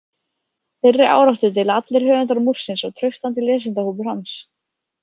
Þeirri áráttu deila allir höfundar Múrsins og traustasti lesendahópur hans.